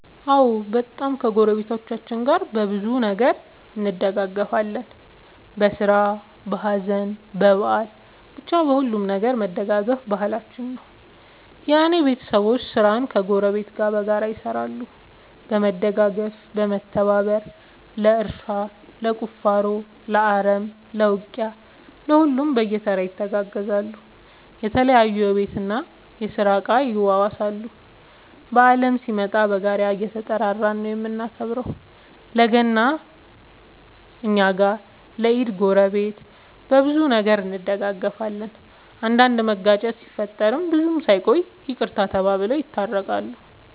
አዎ በጣም ከ ጎረቤቶቻችን ጋር በብዙ ነገር እንደጋገፋለን በስራ በሀዘን በበአል በቻ በሁሉም ነገር መደጋገፍ ባህላችን ነው። የእኔ ቤተሰቦቼ ስራን ከ ጎረቤት ጋር በጋራ ይሰራሉ በመደጋገፍ በመተባበር ለእርሻ ለቁፋሮ ለአረም ለ ውቂያ ለሁሉም በየተራ ይተጋገዛሉ የተለያዩ የቤት እና የስራ እቃ ይዋዋሳሉ። በአልም ሲመጣ በጋራ እየተጠራራን ነው የምናከብረው ለ ገና እኛ ጋ ለ ኢድ ጎረቤት። በብዙ ነገር እንደጋገፋለን። አንዳንድ መጋጨት ሲፈጠር ብዙም ሳይቆዩ ይቅርታ ተባብለው የታረቃሉ።